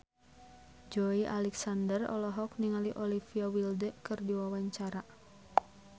Joey Alexander olohok ningali Olivia Wilde keur diwawancara